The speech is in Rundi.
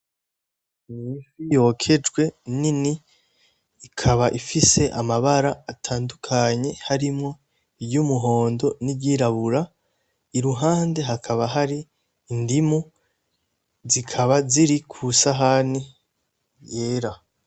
Ifi yokejwe nini ikaba ifise amabara atandukanye harimwo iryumuhondo n'iryirabura iruhande hakaba hari indimu zikaba ziri kw'isahani yera